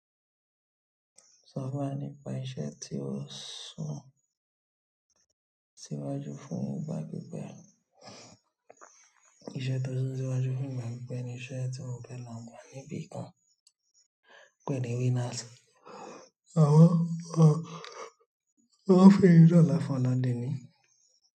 Sọ̀rọ̀ bá ní pa iṣẹ́ tí ó sún síwájú fún ìgbà pípé. Iṣẹ́ tó sún síwájú fún ìgbà pípé ni iṣẹ́ tí mo fẹ́ là ń gbà níbí kan pẹ̀lú Winners. Wọ́n ń fi irú lọ́la fún Oladele.